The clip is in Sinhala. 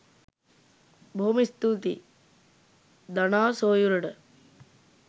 බොහොම ස්තූතියි දනා සොයුරට